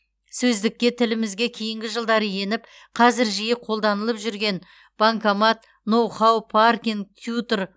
сөздікке тілімізге кейінгі жылдары еніп қазір жиі қолданылып жүрген банкомат ноу хау паркинг тьютор